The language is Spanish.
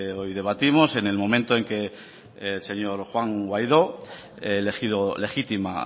hoy debatimos en el momento en que el señor juan guaidó elegido legítima